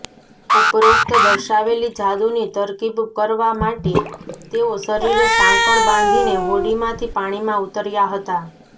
ઉપરોક્ત દર્શાવેલી જાદુની તરકીબ કરવા માટે તેઓ શરીરે સાંકળ બાંધીને હોડીમાંથી પાણીમાં ઊતર્યા હતા